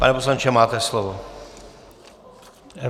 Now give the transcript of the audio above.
Pane poslanče, máte slovo.